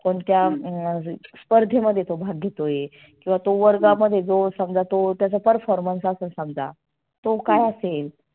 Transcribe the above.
कोणत्या अह स्पर्धेमध्ये तो भाग घेतोय? किंवा तो वर्गामध्ये जो समजा तो त्याचा performance असल समजा तो काय असेल.